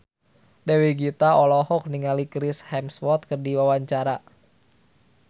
Dewi Gita olohok ningali Chris Hemsworth keur diwawancara